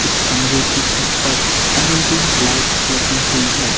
इस कमरे की छत पर एल_ई_डी लाइट्स लगी हुई है।